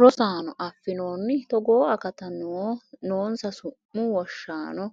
Rosaano, affinoonni togoo akatta noonsa su’mu wonshaano